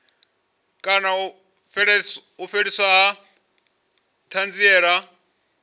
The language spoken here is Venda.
kana u fheliswa ha thanziela